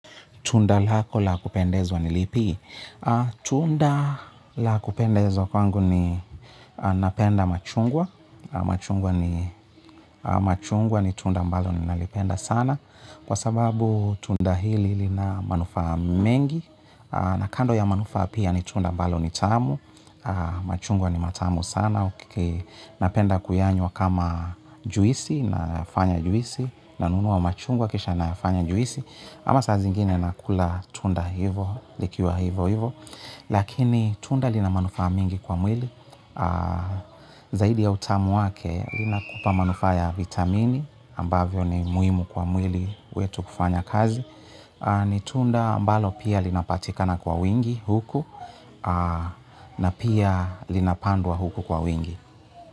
Tunda lako la kupendezwa ni lipi? Tunda la kupendezwa kwangu ni napenda machungwa, na machungwa ni machungwa ni tunda ambalo ninalipenda sana. Kwa sababu tunda hili lina manufaa mengi. Na kando ya manufaa, pia ni tunda ambalo ni tamu. Machungwa ni matamu sana. Napenda kuyanywa kama juisi, nayafanya juisi. Nanunuwa machungwa kisha na anya juisi. Ama saa zingine nakula tunda hivyo, likiwa hivyo hivyo, lakini tunda lina manufaa mingi kwa mwili, zaidi ya utamu wake linakupa manufaa ya vitamini ambavyo ni muhimu kwa mwili wetu kufanya kazi. Ni tunda mbalo pia linapatikana kwa wingi huku na pia linapandwa huku kwa wingi.